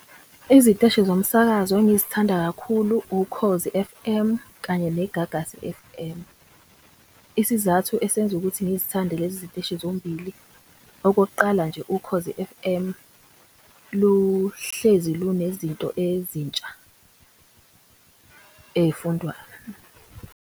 Iziteshi zomsakazo engizithanda kakhulu Ukhozi F_M kanye neGagasi F_M. Isizathu esenza ukuthi ngizithande lezi ziteshi zombili. Okokuqala nje Ukhozi F_M luhlezi lunezinto ezintsha .